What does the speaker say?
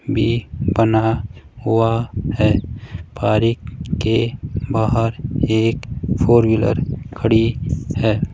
B बना हुआ है पारीक के बाहर एक फोर व्हीलर खड़ी है।